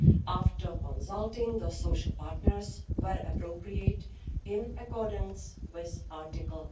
after consulting the social partners, where appropriate, in accordance with Article